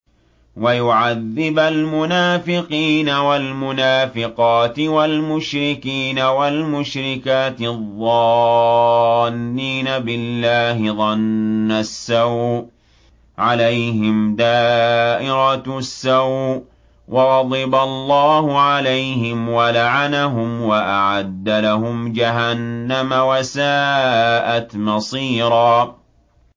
وَيُعَذِّبَ الْمُنَافِقِينَ وَالْمُنَافِقَاتِ وَالْمُشْرِكِينَ وَالْمُشْرِكَاتِ الظَّانِّينَ بِاللَّهِ ظَنَّ السَّوْءِ ۚ عَلَيْهِمْ دَائِرَةُ السَّوْءِ ۖ وَغَضِبَ اللَّهُ عَلَيْهِمْ وَلَعَنَهُمْ وَأَعَدَّ لَهُمْ جَهَنَّمَ ۖ وَسَاءَتْ مَصِيرًا